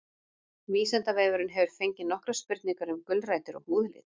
Vísindavefurinn hefur fengið nokkrar spurningar um gulrætur og húðlit.